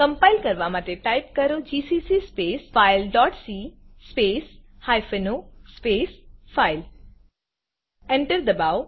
compile કરવાં માટે type કરો GCC space file dot C space hyphen O space file Enter enter દબાવો